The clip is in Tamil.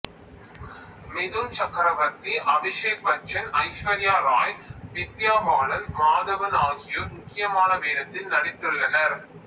மிதுன் சக்கரவர்த்தி அபிஷேக் பச்சன் ஐஸ்வர்யா ராய் வித்யா பாலன் மாதவன் ஆகியோர் முக்கியமான வேடத்தில் நடித்துள்ளனர்